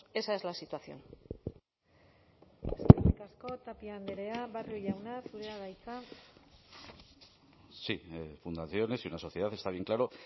esa es la situación eskerrik asko tapia andrea barrio jauna zurea da hitza sí fundaciones y una sociedad está bien claro